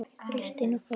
Kristín og Þóra.